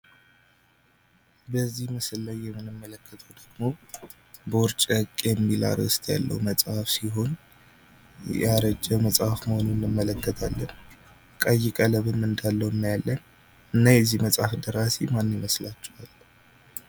በዚህ ምስል ላይ የምንመለከተው ደግሞ ቦርጨቅ የሚል አርዕስት ያለው መጽሃፍ ሲሆን ያረጀ መጽሐፍ መሆኑን እንመለከታለን። ቀይ ቀለምም እንዳለው እናያለን። እና የዚህ መጽሐፍ ደራሲ ማን ይመስላችኋል?